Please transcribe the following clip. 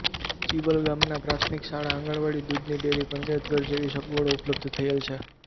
ચિવલ ગામમાં પ્રાથમિક શાળા આંગણવાડી દૂધની ડેરી પંચાયતઘર જેવી સગવડો ઉપલબ્ધ થયેલ છે